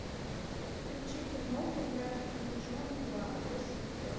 включи киноху братец медвежонок два лось в бегах